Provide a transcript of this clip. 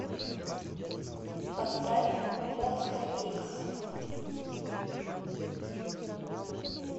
поставь монста икс